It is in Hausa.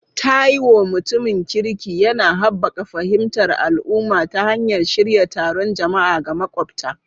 Taiwo, mutumin kirki, yana haɓaka fahimtar al'umma ta hanyar shirya taron jama'a ga makwabta.